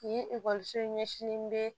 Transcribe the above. Nin ekɔliso in ɲɛsin bɛ